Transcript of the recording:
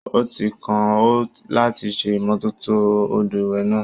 Ó ti kàn ọ́ láti ṣe ìmọ́tótó odò ìwẹ̀ náà.